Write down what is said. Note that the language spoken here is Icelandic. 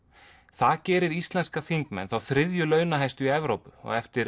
það gerir íslenska þingmenn þá þriðju launahæstu í Evrópu á eftir